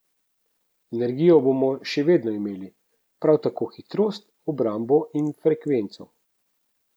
Energijo bomo še vedno imeli, prav tako hitrost, obrambo in frekvenco.